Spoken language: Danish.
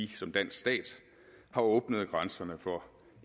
som dansk stat har åbnet grænserne for